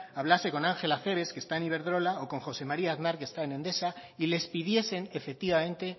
hablase con ángel acebes que está en iberdrola o con josé maría aznar que está en endesa y les pidiesen efectivamente